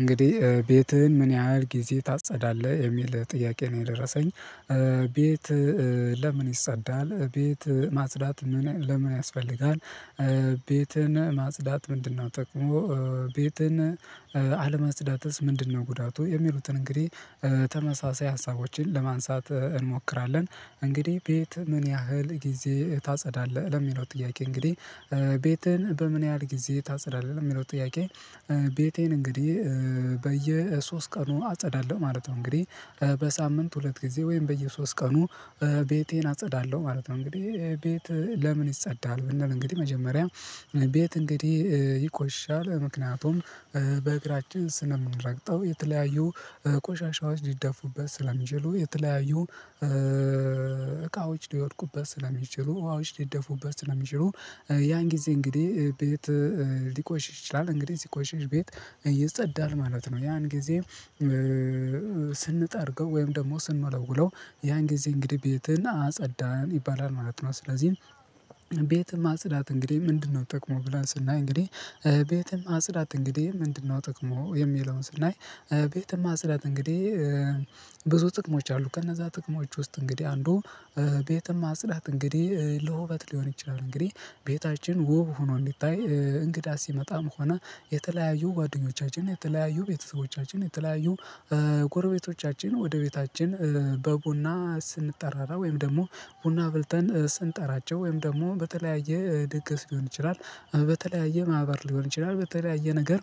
እንግዲህ ቤትህን ምን ያህል ጊዜ ታጸዳለህ? የሚል ጥያቄ ነው የደረሰኝ። ቤት ለምን ይጸዳል? ቤት ማጽዳት ለምን ያስፈልጋል? ቤትን ማጽዳት ምንድነው ጥቅሙ? ቤትን አለማጽዳትስ ምንድነው ጉዳቱ? የሚሉትን እንግዲህ ተመሳሳይ ሀሳቦችን ለማንሳት እንሞክራለን። እንግዲህ ቤት ምን ያህል ጊዜ ታጸዳለህ? ለሚለው ጥያቄ እንግዲህ ቤትህን በምን ያህል ጊዜ ታጸዳለህ? ለሚለው ጥያቄ ቤቴን እንግዲህ በየሶስት ቀኑ አጸዳለሁ ማለት ነው። እንግዲህ በሳምንት ሁለት ጊዜ ወይም በየሶስት ቀኑ ቤቴን አጸዳለሁ ማለት ነው። እንግዲህ ቤት ለምን ይጸዳል ብንል እንግዲህ መጀመሪያ ቤት እንግዲህ ይቆሽሻል። ምክንያቱም በእግራችን ስለምንረግጠው የተለያዩ ቆሻሻዎች ሊደፉበት ስለሚችሉ የተለያዩ እቃዎች ሊወድቁበት ስለሚችሉ ውሃዎች ሊደፉበት ስለሚችሉ ያን ጊዜ እንግዲህ ቤት ሊቆሽሽ ይችላል እንግዲህ ሲቆሽሽ ቤት ይጸዳል ማለት ነው። ያን ጊዜ ስንጠርገው ወይም ደግሞ ስንወለውለው ያን ጊዜ እንግዲህ ቤትን አጸዳን ይባላል ማለት ነው። ስለዚህ ቤትን ማጽዳት እንግዲህ ምንድነው ጥቅሙ ብለን ስናይ እንግዲህ ቤትን ማጽዳት እንግዲህ ምንድነው ጥቅሙ የሚለውን ስናይ ቤትን ማጽዳት እንግዲህ ብዙ ጥቅሞች አሉት። ከነዛ ጥቅሞች ውስጥ እንግዲህ አንዱ ቤትን ማጽዳት እንግዲህ ለውበት ሊሆን ይችላል እንግዲህ ቤታችን ውብ ሆኖ እንዲታይ እንግዳ ሲመጣም ሆነ የተለያዩ ጓደኞቻችን የተለያዩ ቤተሰቦቻችን የተለያዩ ጎረቤቶቻችን ወደ ቤታችን በቡና ስንጠራራ ወይም ደግሞ ቡና አፍልተን ስንጠራቸው ወይም ደግሞ በተለያየ ድግስ ሊሆን ይችላል በተለያየ ማህበር ሊሆን ይችላል በተለያየ ነገር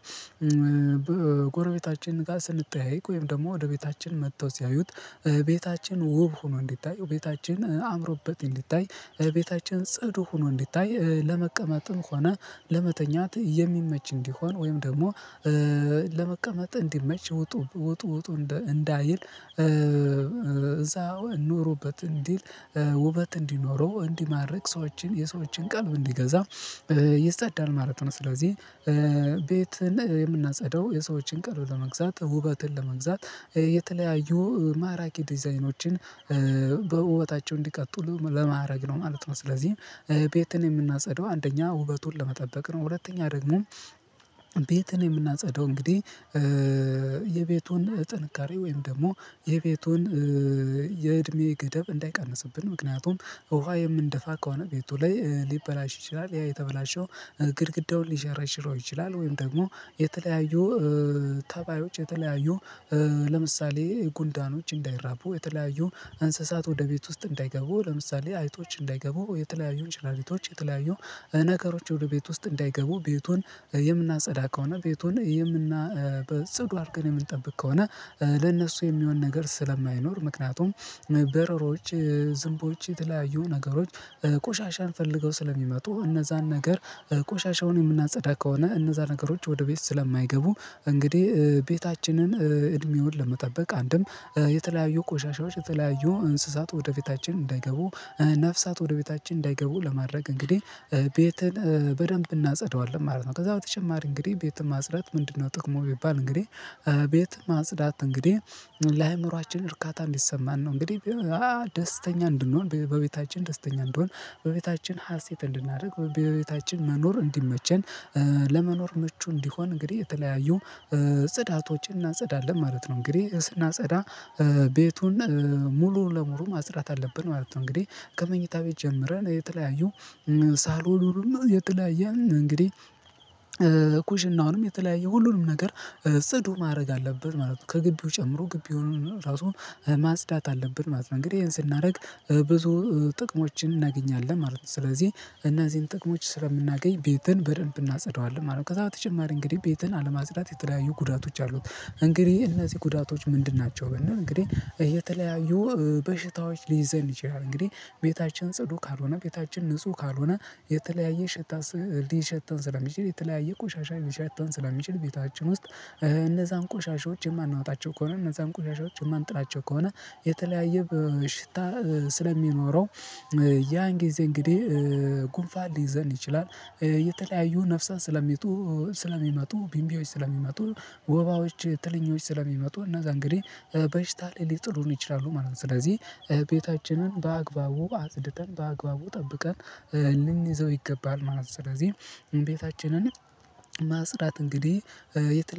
ጎረቤታችን ጋር ስንጠያየቅ ወይም ደግሞ ወደ ቤታችን መጥተው ሲያዩት ቤታችን ውብ ሆኖ እንዲታይ ቤታችን አምሮበት እዲታይ ቤታችን ጽዱ ሆኖ እንዲታይ ለመቀመጥም ሆነ ለመተኛት የሚመች እንዲሆን ወይም ደግሞ ለመቀመጥ እንዲመች ውጡ ውጡ ውጡ እንዳይል እዛ ኑሩበት እንዲል ውበት እንዲኖረው እንዲማርክ ሰዎችን የሰዎችን ቀልብ እንዲገዛ ይጸጠዳል ማለት ነው። ስለዚህ ቤትን የምናጸዳው የሰዎችን ቀልብ ለመግዛት ውበትን ለመግዛት የተለያዩ ማራኪ ዲዛይኖችን በውበታቸው እንዲቀጥሉ ለማረግ ነው ማለት ነው። ስለዚህ ቤትን የምናጸዳው አንደኛ ውበቱን ለመጠበቅ ነው። ሁለተኛ ደግሞ ቤትን የምናጸዳው እንግዲህ የቤቱን ጥንካሬ ወይም ደግሞ የቤቱን የእድሜ ገደብ እንዳይቀንስብን። ምክንያቱም ውሃ የምንደፋ ከሆነ ቤቱ ላይ ሊበላሽ ይችላል። ያ የተበላሸው ግድግዳውን ሊሸረሽረው ይችላል ወይም ደግሞ የተለያዩ ተባዮች የተለያዩ ለምሳሌ ጉንዳኖች እንዳይራቡ የተለያዩ እንስሳት ወደ ቤት ውስጥ እንዳይገቡ። ለምሳሌ አይቶች እንዳይገቡ። የተለያዩ እንሽላሊቶች የተለያዩ ነገሮች ወደ ቤት ውስጥ እንዳይገቡ ቤቱን የምናጸዳ ከሆነ ቤቱን የምና በጽዱ አድርገን የምንጠብቅ ከሆነ ለነሱ የሚሆን ነገር ስለማይኖር ምክንያቱም በረሮች፣ ዝንቦች የተለያዩ ነገሮች ቆሻሻን ፈልገው ስለሚመጡ እነዛን ነገር ቆሻሻውን የምናጸዳ ከሆነ እነዛ ነገሮች ወደ ቤት ስለማይገቡ እንግዲህ ቤታችንን እድሜውን ለመጠበቅ አንድም የተለያዩ ቆሻሻዎች የተለያዩ እንስሳት ወደ ቤታችን እንዳይገቡ ነፍሳት ወደ ቤታችን እንዳይገቡ ለማድረግ እንግዲህ ቤትን በደንብ እናጸዳዋለን ማለት ነው። ከዛ በተጨማሪ እንግዲህ ቤትን ማጽዳት ምንድነው ጥቅሙ ቢባል እንግዲህ ቤትን ማጽዳት እንግዲህ ለአእምሮአችን እርካታ እንዲሰማን ነው እንግዲህ ደስተኛ እንድንሆን በቤታችን ደስተኛ እንድንሆን በቤታችን ሀሴት እንድናደርግ በቤታችን መኖር እንዲመቸን ለመኖር ምቹ እንዲሆን እንግዲህ የተለያዩ ጽዳቶዎችን እናጸዳለን ማለት ነው። እንግዲህ ስናጸዳ ቤቱን ሙሉ ለሙሉ ማጽዳት አለብን ማለት ነው። እንግዲህ ከመኝታ ቤት ጀምረን የተለያዩ ሳሎኑንም የተለያየ እንግዲህ ኩሽናውንም የተለያየ ሁሉንም ነገር ጽዱ ማድረግ አለብን ማለት ነው። ከግቢው ጨምሮ ግቢውን ራሱን ማስዳት አለብን ማለት ነው። እንግዲህ ይሄን ስናደርግ ብዙ ጥቅሞችን እናገኛለን ማለት ነው። ስለዚህ እነዚህን ጥቅሞች ስለምናገኝ ቤትን በደንብ እናጸዳዋለን ማለት ነው። ከዛ በተጨማሪ እንግዲህ ቤትን አለማጽዳት የተለያዩ ጉዳቶች አሉት። እንግዲህ እነዚህ ጉዳቶች ምንድን ናቸው ብንል እንግዲህ የተለያዩ በሽታዎች ሊይዘን ይችላል። እንግዲህ ቤታችን ጽዱ ካልሆነ ቤታችን ንጹህ ካልሆነ የተለያየ ሽታ ሊሸተን ስለሚችል የተለያየ ቆሻሻ ሊሸተን ስለሚችል ቤታችን ውስጥ እነዛን ቆሻሻዎች የማናወጣቸው ከሆነ እነዛን ቆሻሻዎች የማንጥላቸው ከሆነ የተለያየ በሽታ ስለሚኖረው ያን ጊዜ እንግዲህ ጉንፋን ሊይዘን ይችላል። የተለያዩ ነፍሳት ስለሚወጡ ስለሚመጡ ቢምቢዎች ስለሚመጡ ወባዎች ትለኞች ስለሚመጡ እነዛ እንግዲህ በሽታ ላይ ሊጥሉን ይችላሉ ማለት ነው። ስለዚህ ቤታችንን በአግባቡ አጽድተን በአግባቡ ጠብቀን ልንይዘው ይገባል ማለት ነው። ስለዚህ ቤታችንን ማጽዳት እንግዲህ የተለ